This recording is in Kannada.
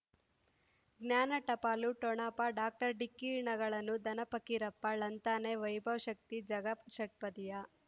ಜ್ಞಾನ ಟಪಾಲು ಠೊಣಪ ಡಾಕ್ಟರ್ ಢಿಕ್ಕಿ ಣಗಳನು ಧನ ಪಕೀರಪ್ಪ ಳಂತಾನೆ ವೈಭವ್ ಶಕ್ತಿ ಝಗಾ ಷಟ್ಪದಿಯ